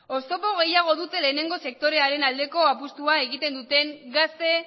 oztopo gehiago dute lehenengo sektorearen aldeko apustua egiten duten gazte